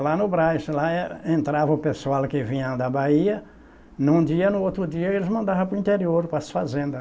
Lá no Brás, lá era entrava o pessoal que vinha da Bahia, num dia e no outro dia eles mandavam para o interior, para as fazendas.